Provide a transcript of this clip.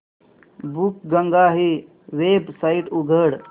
बुकगंगा ही वेबसाइट उघड